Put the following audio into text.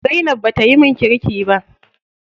Zainab bata yi min kirki ba.